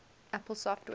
apple software